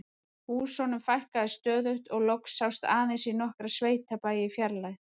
Húsunum fækkaði stöðugt og loks sást aðeins í nokkra sveitabæi í fjarlægð.